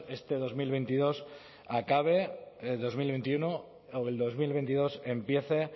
este dos mil veintiuno acabe o el dos mil veintidós empiece